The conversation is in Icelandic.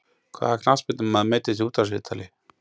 Hvaða knattspyrnumaður meiddist í útvarpsviðtali?